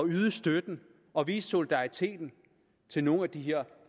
yde støtten og vise solidariteten til nogle af de her